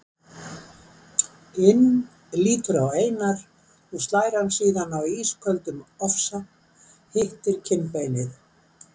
inn lítur á Einar og slær hann síðan af ísköldum ofsa, hittir kinnbeinið.